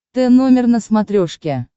т номер на смотрешке